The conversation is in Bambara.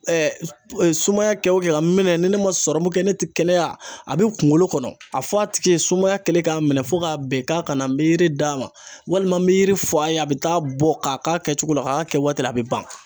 sumaya kɛ o kɛ ka minɛ ni ne ma kɛ ne tɛ kɛnɛya a bɛ kunkolo kɔnɔ a fɔ a tigi ye sumaya kɛlen k'a minɛ fo k'a bɛn k'a kana n bɛ yiri d'a ma walima n bɛ yiri f'a ye a bɛ taa bɔ k'a k'a kɛcogo la a k'a kɛ waati la a bɛ ban.